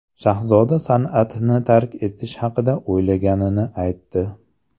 Shahzoda san’atni tark etish haqida o‘ylaganini aytdi.